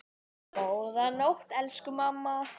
Góða nótt, elsku mamma.